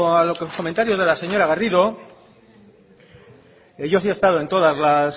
a los comentarios de la señora garrido que yo sí he estado en todas las